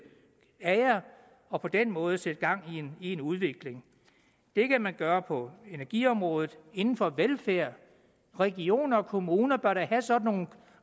af jer og på den måde sætte gang i en udvikling det kan man gøre på energiområdet og inden for velfærd regioner og kommuner bør da have sådan nogle